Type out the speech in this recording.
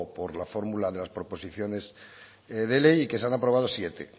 por la fórmula de las proposiciones de ley y que se han aprobado siete